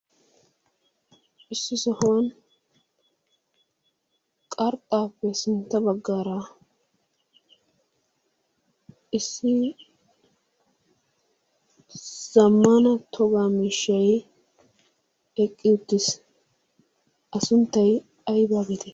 issi sohuwaan qarxxaappe sintta baggaara issi zammaana togaa miishshay eqqi uttis. a sunttay aybaa aybaa geettetti?